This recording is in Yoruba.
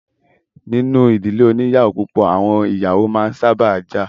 Nínú ìdílé oní ìyàwó púpọ̀, àwọn ìyàwó a máa sábà jà.